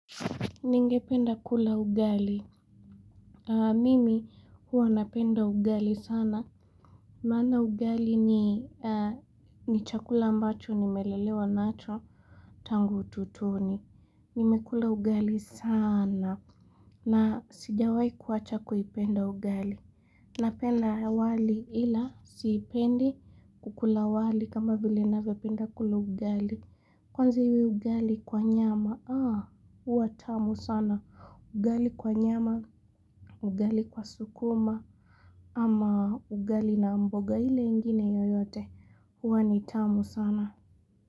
Ningependa kula ugali Mimi huwa napenda ugali sana Maana ugali ni chakula ambacho nimelelewa nacho Tangu utotoni nimekula ugali sana na sijawai kuwacha kuipenda ugali Napenda wali ila siipendi kukula wali kama vile ninavyopenda kula ugali Kwanza iwe ugali kwa nyama Haa, huwa tamu sana. Ugali kwa nyama, ugali kwa sukuma, ama ugali na mboga ile ingine yoyote, huwa ni tamu sana.